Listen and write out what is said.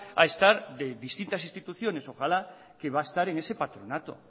a estar de distintas instituciones ojalá que va a estar en ese patronato